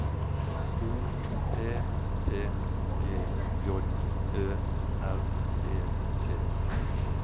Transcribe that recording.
O P P G J Ø R E T